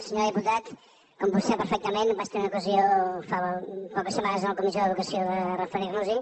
senyor diputat com vostè sap perfectament vaig tenir ocasió fa poques setmanes en la comissió d’educació de referir nos hi